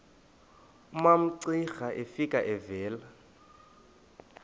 umamcira efika evela